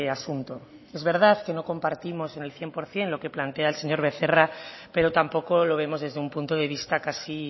asunto es verdad que no compartimos en el cien por ciento lo que plantea el señor becerra pero tampoco lo vemos desde un punto de vista casi